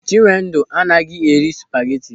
Chinwendu anaghị eri spageti.